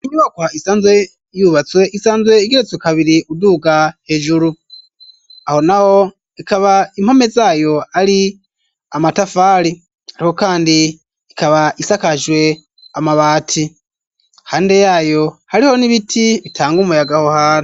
Inyubako isanzwe yubatswe isanzwe igeretse kabiri ,uduga hejuru aho naho ikaba impome zayo ari amatafari, ariko kandi ikaba isakajwe amabati ,hande yayo hariho n'ibiti bitanga umuyagaho hari.